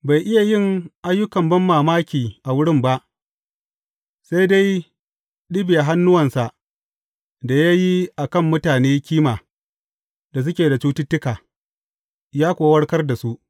Bai iya yin ayyukan banmamaki a wurin ba, sai dai ɗibiya hannuwansa da ya yi a kan mutane kima da suke da cututtuka, ya kuwa warkar da su.